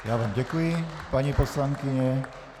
Já vám děkuji, paní poslankyně.